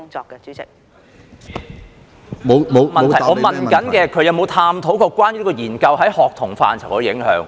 局長沒有答覆我的補充質詢，我問她有否探討有關研究在學童範疇的影響。